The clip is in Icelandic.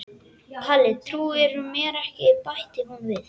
Kalli trúir mér ekki bætti hún við.